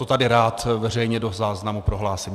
To tady rád veřejně do záznamu prohlásím.